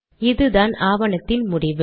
இதுதான் ஆவணத்தின் முடிவு